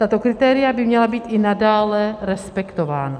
Tato kritéria by měla být i nadále respektována.